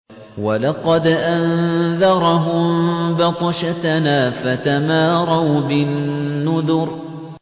وَلَقَدْ أَنذَرَهُم بَطْشَتَنَا فَتَمَارَوْا بِالنُّذُرِ